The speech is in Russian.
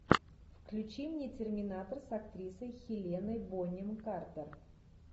включи мне терминатор с актрисой хеленой бонем картер